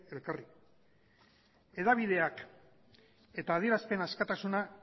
elkarri hedabideak eta adierazpen askatasuna